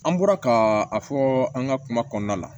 An bɔra ka a fɔ an ka kuma kɔnɔna na